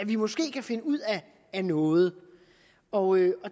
vi måske kan finde ud af noget og